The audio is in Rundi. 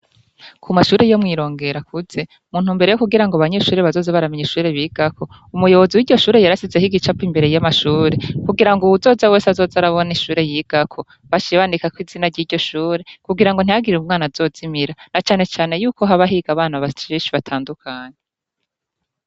Ku mashure yo mwirongera akuze muntu mbere yo kugira ngo banyeshure bazoze baramenya ishure bigako umuyobozi w'iryo shure yarasizeho igicapo imbere y'amashure kugira ngo uwuzoze wese azoza arabona ishure yigako bashibanikako izina ry'iryo shure kugira ngo ntihagiriwe umwana azozimira na canecane yuko habahiga abana bashishi batandukane.